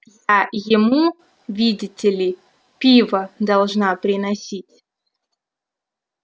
я ему видите ли пиво должна приносить